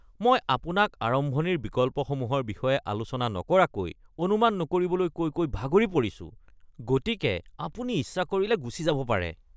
মই আপোনাক আৰম্ভণিৰ বিকল্পসমূহৰ বিষয়ে আলোচনা নকৰাকৈ অনুমান নকৰিবলৈ কৈ কৈ ভাগৰি পৰিছোঁ, গতিকে আপুনি ইচ্ছা কৰিলে গুচি যাব পাৰে। (ফিটনেছ প্ৰশিক্ষক)